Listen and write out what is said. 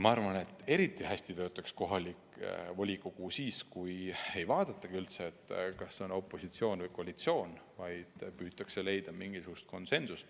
Ma arvan, et eriti hästi töötaks kohalik volikogu siis, kui ei vaadatakski üldse, kas on opositsioon või koalitsioon, vaid püütakse leida mingisugune konsensus.